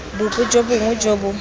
bope jo bongwe jo bo